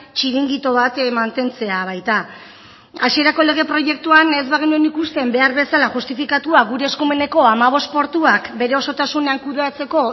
txiringito bat mantentzea baita hasierako lege proiektuan ez bagenuen ikusten behar bezala justifikatua gure eskumeneko hamabost portuak bere osotasunean kudeatzeko